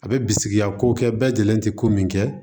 A bɛ bisigiya ko kɛ bɛɛ lajɛlen tɛ ko min kɛ